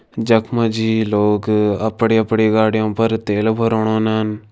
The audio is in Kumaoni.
जख मजी लोग अपणी अपणी गाड़ियों पर तेल भरोण ओनन।